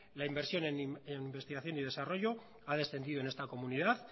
la inversión en investigación y desarrollo ha descendido en esta comunidad